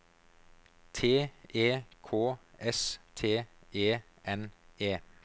T E K S T E N E